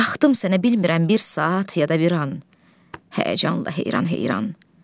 Baxdım sənə, bilmirəm bir saat, ya da bir an həyəcanla heyran-heyran.